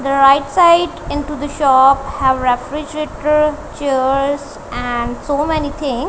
the right side into the shop have refrigerator chairs and so many thing.